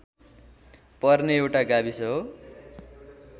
पर्ने एउटा गाविस हो